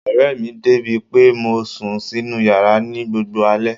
Ó rẹ̀ mi débi pé mo sùn sínu yàrá ní gbogbo alé.